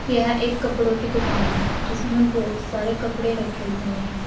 यह एक कपड़ों की दुकान है जिसमें बहुत सारे कपड़े रखे हुए हैं।